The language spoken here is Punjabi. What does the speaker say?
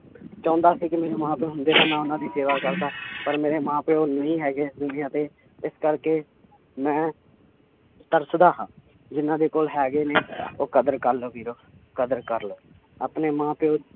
ਚਾਹੁੰਦਾ ਸੀ ਕਿ ਮੇਰੇ ਮਾਂ ਪਿਓ ਹੁੰਦੇ ਤਾਂ ਮੈਂ ਉਹਨਾਂ ਦੀ ਸੇਵਾ ਕਰਦਾ ਪਰ ਮੇਰੇ ਮਾਂ ਪਿਓ ਨਹੀਂ ਹੈਗੇ ਇਸ ਦੁਨੀਆਂ ਤੇ ਇਸ ਕਰਕੇ ਮੈਂ ਤਰਸਦਾ ਹਾਂ ਜਿੰਨਾਂ ਦੇ ਕੋਲ ਹੈਗੇ ਨੇ ਉਹ ਕਦਰ ਕਰ ਲਓ ਵੀਰੋ, ਕਦਰ ਕਰ ਲਓ, ਆਪਣੇ ਮਾਂ ਪਿਓ